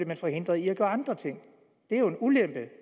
man forhindret i at gøre andre ting det er jo en ulempe